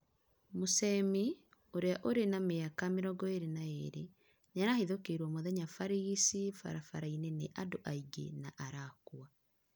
Muchemi, ũria uri na miaka 22 nĩarahĩthũkĩrwo mũthenya barĩgĩcĩ barabara-ĩnĩ ĩna andũ aĩngĩ na arakũa